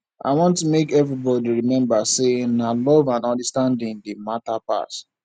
i want make everybodi rememba sey na love and understanding dey mata pass